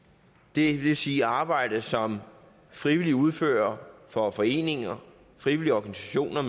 det vil sige arbejde som frivillige udfører for foreninger frivillige organisationer